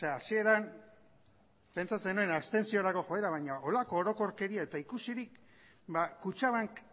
hasieran pentsatzen nuen abstentziorako joera baino horrelako orokorkeria eta ikusirik ba kutxabank